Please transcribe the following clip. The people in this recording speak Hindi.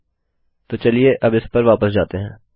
ठीक है तो चलिए अब इस पर वापस जाते हैं